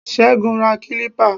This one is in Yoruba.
Ségun ra kilipa